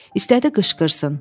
İstədi qışqırsın.